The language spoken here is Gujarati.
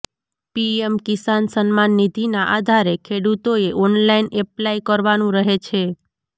પીએમ કિસાન સમ્માન નિધિના આધારે ખેડૂતોએ ઓનલાઈન એપ્લાય કરવાનું રહે છે